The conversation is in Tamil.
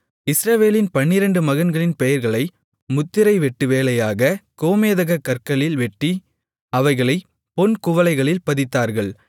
இஸ்ரவேலின் பன்னிரெண்டு மகன்களின் பெயர்களை முத்திரை வெட்டுவேலையாகக் கோமேதகக் கற்களில் வெட்டி அவைகளைப் பொன் குவளைகளில் பதித்தார்கள்